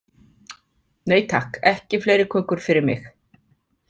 Nei, takk, ekki fleiri kökur fyrir mig.